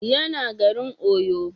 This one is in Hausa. Ya na garin Oyo